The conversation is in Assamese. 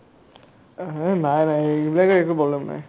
এইহে নাই নাই এইবিলাকে একো problem নাই